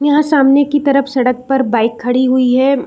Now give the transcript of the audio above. यहाँ सामने की तरफ सड़क पर बाइक खड़ी हुई है यम --